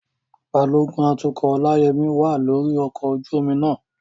Balógun atukọ̀ Olayemi wà lórí ọkọ̀ ojú omi náà.